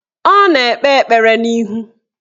Ọ na-ekpe ekpere n'ilu